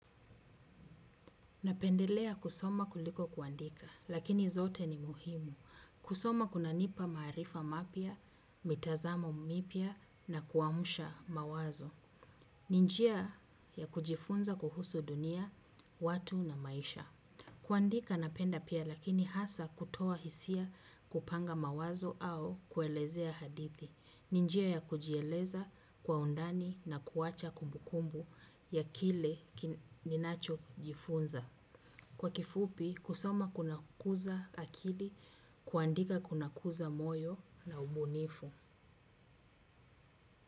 Napendelea kusoma kuliko kuandika, lakini zote ni muhimu. Kusoma kunanipa maarifa mapyia, mitazamo mipya na kuamsha mawazo. Ni njia ya kujifunza kuhusu dunia, watu na maisha. Kuandika napenda pia lakini hasa kutoa hisia kupanga mawazo au kuelezea hadithi. Ni njia ya kujieleza kwa undani na kuacha kumbukumbu ya kile ninachojifunza. Kwa kifupi, kusoma kunakuza akili, kuandika kunakuza moyo na ubunifu.